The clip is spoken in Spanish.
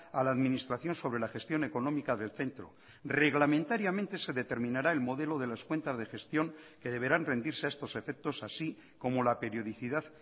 a la administración sobre la gestión económica del centro reglamentariamente se determinará el modelo de las cuentas de gestión que deberán rendirse a estos efectos así como la periodicidad